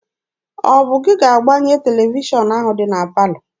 Ọ bụ gị ga-agbanye televishọn ahụ dị na palọ?